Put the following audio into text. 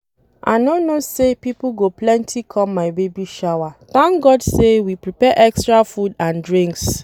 I no know say people go plenty come my baby shower thank God say we prepare extra food and drinks